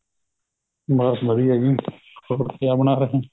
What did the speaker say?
ਬੱਸ ਵਧੀਆ ਏ ਜ਼ੀ ਹੋਰ ਕਿਆ ਬਣਾ ਰਹੇ